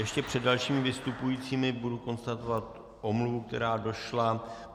Ještě před dalšími vystupujícími budu konstatovat omluvu, která došla.